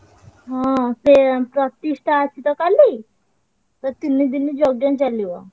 ହଁ ସେ ଏଁ ପ୍ରତିଷ୍ଠା ଅଛି ତ କାଲି ଓ ତିନିଦିନି ଯଜ୍ଞ ଚାଲିବ।